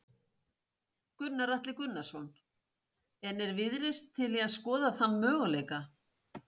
Gunnar Atli Gunnarsson: En er Viðreisn til í að skoða þann möguleika?